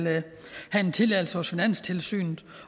have en tilladelse hos finanstilsynet